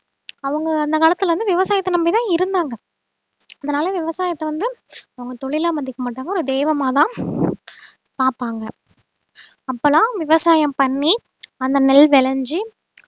அவங்க அந்த காலத்துல இருந்து விவசாயத்தை நம்பிதான் இருந்தாங்க அதனால விவசாயத்தை வந்து அவங்க தொழிலா மதிக்க மாட்டாங்க ஒரு தெய்வமாதான் பாப்பாங்க அப்பெல்லாம் விவசாயம் பண்ணி அந்த நெல் விளைஞ்சு